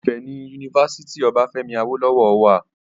Ìfẹ́ ni Unifásítì Obáfẹ́mi Awólọ́wọ̀ wà